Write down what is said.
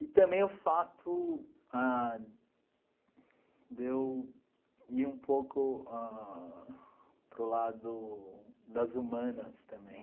E também o fato ah de eu ir um pouco ãh para o lado das humanas também.